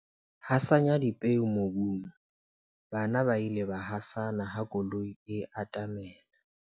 Hasanya dipeo mobung, bana ba ile ba hasana ha koloi e atamela.